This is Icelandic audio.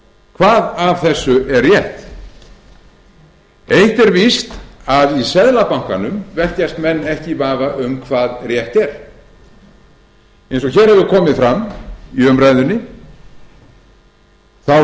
hvað af þessu er rétt eitt er víst að í seðlabankanum velkjast menn ekki í vafa um hvað rétt er eins og hér hefur komið fram í umræðunni þá